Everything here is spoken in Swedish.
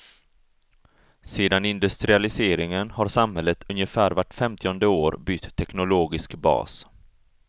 Sedan industrialiseringen har samhället ungefär vart femtionde år bytt teknologisk bas.